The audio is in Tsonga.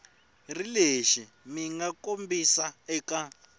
ri lexi mga kombisiwa eka